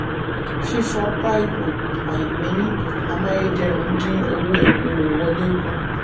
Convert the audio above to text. fífọ paipu/àìní amáyédẹrùn dín owó epo wọlé kù.